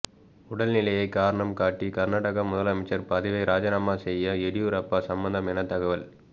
உடல் நிலையை காரணம் காட்டி கர்நாடக முதலமைச்சர் பதவியை ராஜினாமா செய்ய எடியூரப்பா சம்மதம் என தகவல்